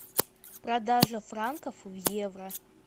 продажа франков в евро